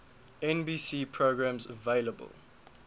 nbc programs available